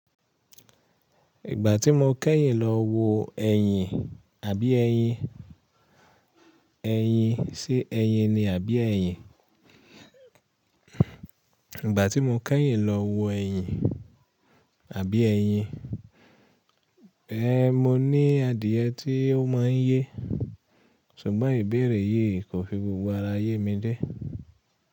Ìgbà tí mo kẹ́yìn lọ wo ẹyìn àbí ẹyin, ẹyin ṣe ẹyin ni àbí ẹyin? Ìgbà tí mo kẹ́yìn lọ wo ẹyin àbí ẹyin, ẹe mo ní adìẹ tí ó má ń yé, ṣùgbọ́n ìbéèrè yìí kò fi gbogbo ara yé mi dé.